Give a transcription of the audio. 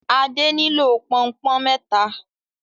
Ade nilo Pọnpọ́n méta